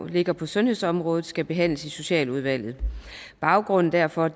ligger på sundhedsområdet skal behandles i socialudvalget baggrunden derfor